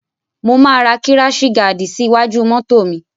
Mo máa ra kíráṣì gaàdì sí iwájú mọ́to mi.